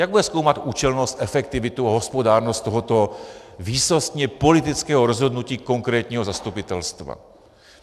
Jak bude zkoumat účelnost, efektivitu a hospodárnost tohoto výsostně politického rozhodnutí konkrétního zastupitelstva?